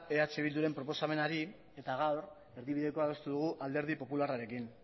eh bilduren proposamenari eta gaur erdibidekoa adostu dugu alderdi popularrarekin